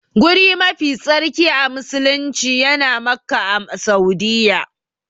Guri mafi tsarki a musulumci yana Makka a Saudiyya.